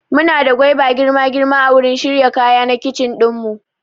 Muna da gwaiba girma girma a wurin shirya kaya na kitchen ɗin mu